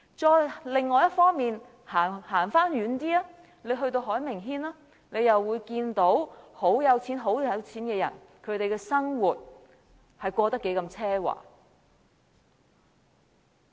再往另一方走遠一點到海名軒，大家又會看到極富有的人的生活是過得何等奢華。